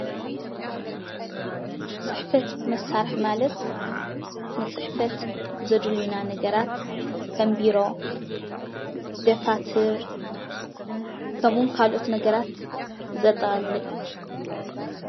ፅሕፈት መሳርሒ ማለትን ንፅሕፈት ዘድልዩና ነገራት ከም ቢሮ፣ ደፋተር ከምኡ እዉን ካልኦት ነገራት ዘጠቃለለ እዩ ።